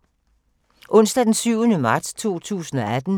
Onsdag d. 7. marts 2018